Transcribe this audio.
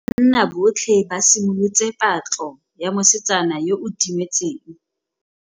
Banna botlhê ba simolotse patlô ya mosetsana yo o timetseng.